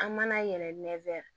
An mana yɛrɛ